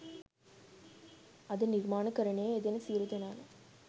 අද නිර්මාණකරණයේ යෙදෙන සියලු දෙනා ම